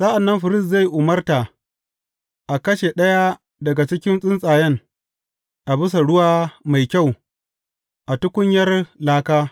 Sa’an nan firist zai umarta a kashe ɗaya daga cikin tsuntsayen a bisa ruwa mai kyau a tukunyar laka.